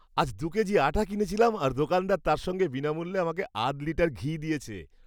আজ দু'কেজি আটা কিনেছিলাম, আর দোকানদার তার সঙ্গে বিনামূল্যে আমাকে আধ লিটার ঘি দিয়েছে।